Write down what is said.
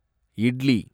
idli